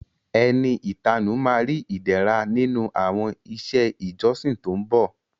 Ẹni ìtanú ma ri Ìdẹ̀ra nínú àwọn iṣẹ́ ìjọsìn tó ń bọ̀